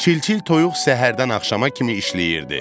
Çil-çil toyuq səhərdən axşama kimi işləyirdi.